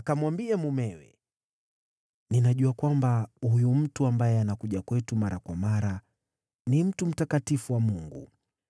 Akamwambia mumewe, “Ninajua kwamba huyu mtu ambaye anakuja kwetu mara kwa mara ni mtu mtakatifu wa Mungu.